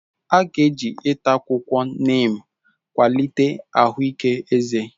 A ga-eji ịta akwụkwọ neem kwalite ahụike eze.